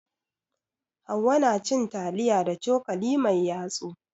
Hauwa na cin taliya da cokali mai yatsu.